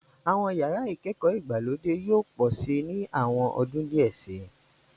Àwọn yàrá ìkẹ́kọ̀ọ́ ìgbàlódé yóò pọ̀ síi ní àwọn ọdún díẹ̀ síi.